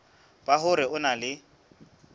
ba hore o na le